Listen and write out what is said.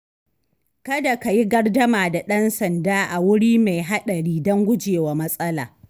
Kada ka yi gardama da ɗan sanda a wuri mai haɗari don gujewa matsala.